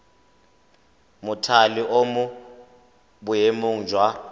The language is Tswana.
mothale o mo boemong jwa